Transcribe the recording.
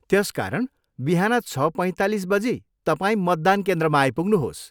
त्यसकारण बिहान छ पैँतालिस बजी तपाईँ मतदान केन्द्रमा आइपुग्नुहोस्।